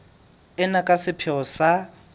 ena ka sepheo sa ho